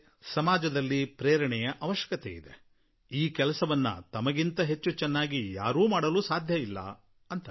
ಸಮಾಜಕ್ಕೆ ಪ್ರೇರಣೆಯ ಜರೂರತ್ ಇದೆ ಮತ್ತು ಈ ಕೆಲಸವನ್ನು ನೀವು ಬಿಟ್ಟು ಬೇರಾರಿಂದಲೂ ಒಳ್ಳೆಯ ರೀತಿಯಲ್ಲಿ ಮಾಡಲು ಸಾಧ್ಯವಿಲ್ಲ ಎಂದು ಅವರು ಹೇಳಿದ್ದಾರೆ